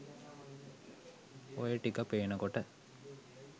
ඔය ටික පේනකොට